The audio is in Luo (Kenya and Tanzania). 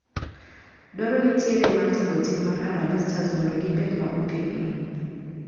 Dwaro nitiere mar tego tim mar harambee stars mondo gibed ma otegno.